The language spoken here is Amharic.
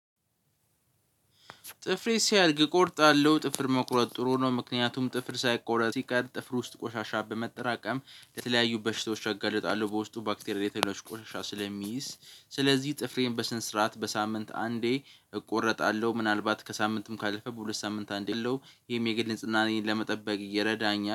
ጥፍር ሲያድግ እቆርጣለሁ ጥፍር መቁረጥ ጥሩ ነው ምክንያቱም ጥፍር ሳይቆረጥ ሲቀር ጥፍር ውስጥ ቆሻሻ በመጠራቀም ለተለያዩ በሽታዎች እጋልጣለሁ። በውስጡ ባክቴሪያ ሌሎች ቆሻሻ ስለሚይዝ ስለዚህ ጥፍሬን በስነ ስርዓት በሳምንት አንዴ እቆረጣለሁ። ምናልባት ከሳምንትም ካለፈ በሁለት ሳምንት አንዴ አለው። ይሄም የግድ ንጽህናን ለመጠበቅ እየረዳኝ